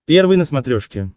первый на смотрешке